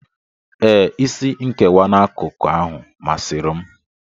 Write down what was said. Ee, isi nkewa n'akụkụ ahụ masịrị m.